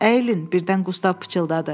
Əyilin, birdən Qustav pıçıldadı.